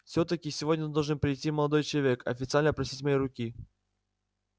всё-таки сегодня должен был прийти молодой человек официально просить моей руки